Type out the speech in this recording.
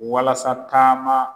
Walasa taama